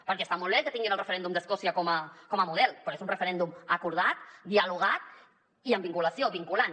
perquè està molt bé que tinguin el referèndum d’escòcia com a model però és un referèndum acordat dialogat i amb vinculació vinculant